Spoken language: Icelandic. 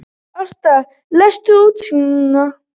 Ásta, læstu útidyrunum.